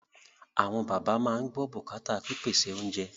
Àwọn bàbá máa ń gbọ́ bùkátà pípèsè oúnjẹ